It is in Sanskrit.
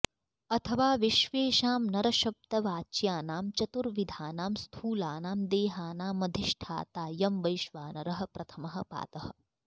अथवा विश्वेषां नरशब्दवाच्यानां चतुर्विधानां स्थूलानां देहानामधिष्ठाताऽयं वैश्वानरः प्रथमः पादः